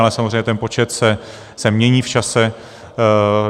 Ale samozřejmě ten počet se mění v čase.